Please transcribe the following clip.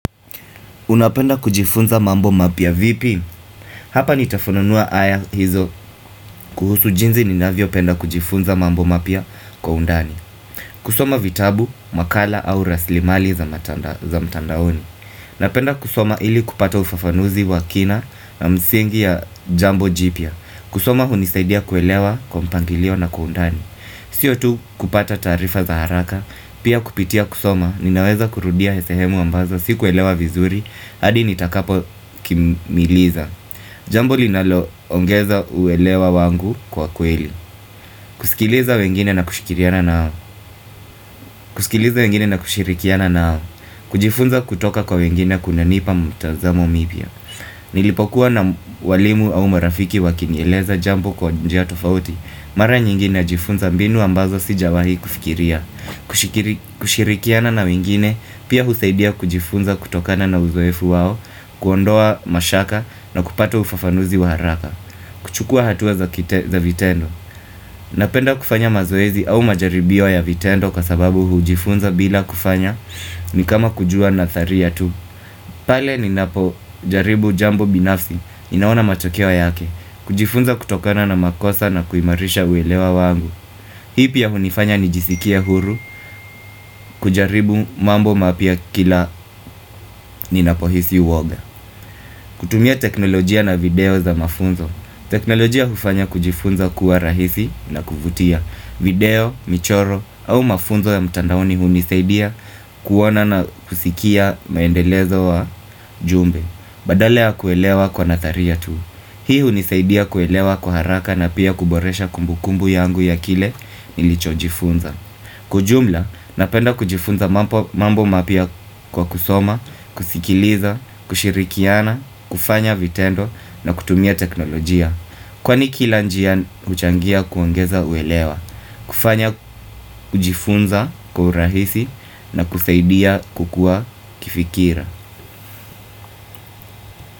Unapenda kujifunza mambo mapya vipi? Hapa nitafununua haya hizo kuhusu jinzi ninavyopenda kujifunza mambo mapya kwa undani. Kusoma vitabu, makala au rasilimali za mtandaoni. Napenda kusoma ili kupata ufafanuzi wa kina na msingi ya jambo jipya. Kusoma hunisaidia kuelewa kwa mpangilio na kwa undani. Sio tu kupata taarifa za haraka. Pia kupitia kusoma ninaweza kurudia sehemu ambazo. Si kuelewa vizuri, hadi nitakapo kimiliza Jambo linaloongeza uelewa wangu kwa kweli Kusikileza wengine na kushikirikiana naao. Kujifunza kutoka kwa wengine kunanipa mtazamo mibya Nilipokuwa na walimu au marafiki wakinieleza jambo kwa njia tofauti Mara nyingi najifunza mbinu ambazo sijawahi kufikiria Kushikirikiana na wengine, pia husaidia kujifunza kutokana na uzwefu wao kuondoa mashaka na kupata ufafanuzi wa haraka kuchukua hatua za vitendo Napenda kufanya mazoezi au majaribio ya vitendo Kwa sababu hujifunza bila kufanya ni kama kujua na thari ya tu pale ninapo jaribu jambo binafsi Inaona matokewa yake kujifunza kutokana na makosa na kuimarisha uelewa wangu. Hii pi ya hunifanya nijisikia huru kujaribu mambo mapya kila ni napohisi uoga kutumia teknolojia na video za mafunzo. Teknolojia hufanya kujifunza kuwa rahisi na kuvutia video, michoro au mafunzo ya mtandaoni hunisaidia kuona na kusikia maendelezo wa jumbe Badalaa ya kuelewa kwa nataria tu Hii hunisaidia kuelewa kwa haraka na pia kuboresha kumbukumbu yangu ya kile nilicho jifunza Kwa jumla, napenda kujifunza mambo mapya kwa kusoma, kusikiliza, kushirikiana kufanya vitendo na kutumia teknolojia Kwani kila njia uchangia kuangeza uelewa kufanya kujifunza kwa urahisi na kusaidia kukua kifikira.